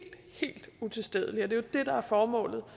helt utilstedeligt det der er formålet